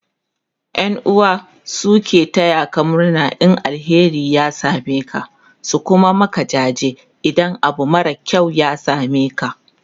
ƴan'uwa su suke tayaka murna in alheri ya sameka su Kuma Maka jaji idan Abu mara kyau ya sameka